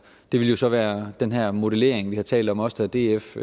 det ville så være den her modellering vi har talt om også da df